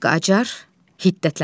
Qacar hiddətlənərək.